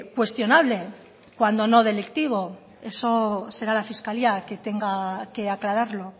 cuestionable cuando no delictivo eso será la fiscalía que tenga que aclararlo